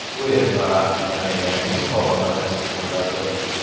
UEFA yana yangi musobaqa tashkil qiladi.